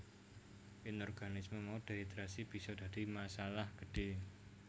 Ing organisme mau dehidrasi bisa dadi masalah gedhé